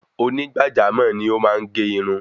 Oní gbàjámò ni o máa n ge irun